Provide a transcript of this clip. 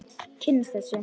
Kynnast þessu.